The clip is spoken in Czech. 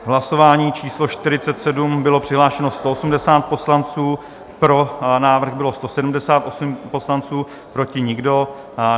V hlasování číslo 47 bylo přihlášeno 180 poslanců, pro návrh bylo 178 poslanců, proti nikdo.